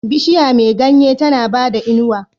Bishiya me ganye tAna bada inuwa